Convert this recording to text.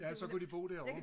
ja så kunne de bo derovre